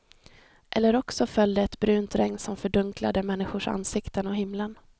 Eller också föll det ett brunt regn som fördunklade människors ansikten och himlen.